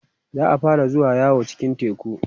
za'a fara zuwa yawo cikin teku